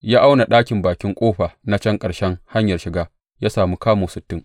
Ya auna ɗakin bakin ƙofa na can ƙarshen hanyar shiga ya sami kamu sittin.